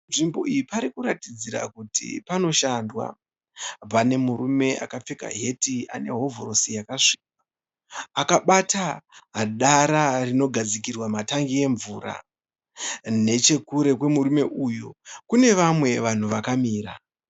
Nzvimbo iyi parikuratidzira kuti panoshandwa. Pane murume akapfeka heti anehovhorosi yakasviba akabata dara rinogadzikirwa matengi emvura. Nechekure kwemurume uyu kune vamwe vanhu vakamira.